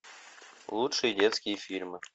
лучшие детские фильмы